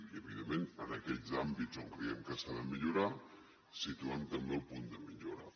in evidentment en aquells àmbits on creiem que s’ha de millorar situem també el punt de millora